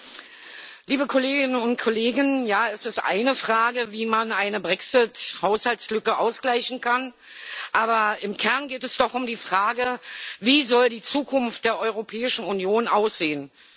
Frau Präsidentin, liebe Kolleginnen und Kollegen! Es ist eine Frage, wie man eine Brexit Haushaltslücke ausgleichen kann, aber im Kern geht es doch um die Frage Wie soll die Zukunft der Europäischen Union aussehen?